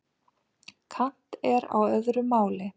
Kant er á öðru máli.